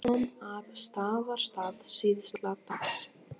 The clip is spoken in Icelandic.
Hann kom að Staðarstað síðla dags.